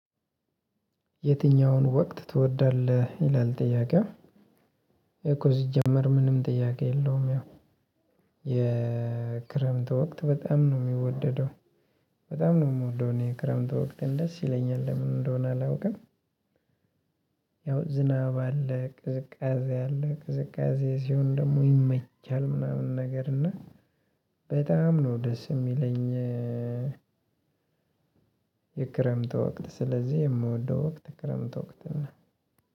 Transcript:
የትኛውን ወቅት ትወዳለህ? ይላል ጥያቄው ይሄ እኮ ሲጀመር ምንም ጥያቄ የለውም ያው የክረምት ወቅት በጣም ነው የሚወደደው በጣም ነው የምወደው እኔ ክረምት ወቅት ደስ ይለኛል ለምን እንደሆነ አላውቅም ያው ዝናብ አለ፣ ቅዝቃዜ አለ ቅዝቃዜ ሲሆን ደግሞ ይመቻል ምናምን ነገር እና በጣም ነው ደስ የሚለኝ የክረምት ወቅት ስለዚህ የምወደው ወቅት ክረምት ወቅት ነው።